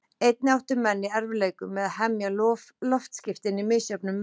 Einnig áttu menn í erfiðleikum með að hemja loftskipin í misjöfnum veðrum.